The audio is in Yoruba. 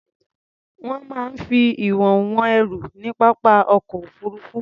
Wọ́n máa ń fi ìwọ̀n wọn ẹrù ní pápá ọkọ̀ òfuruufú.